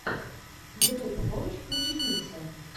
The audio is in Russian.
ютуб можешь включить миксы